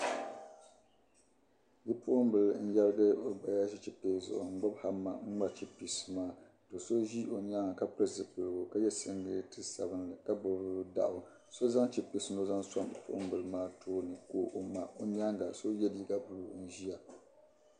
Bipuɣimbila n-yɛrigi o gbaya ʒi chipiisi zuɣu n-ŋmari chipiisi maa ka so ʒi o nyaaŋga ka pili zipiligu ka ye siŋgileeti sabilinli ka gbibi daɣu. So zaŋ chipiisi ni o zaŋ sɔŋ bipuɣimbila maa tooni ka o ŋma. O nyaaŋga so n-ye liiga buluu n-ʒia.